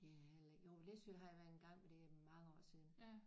Det har jeg heller ikke jo Læsø har jeg været engang men det er mange år siden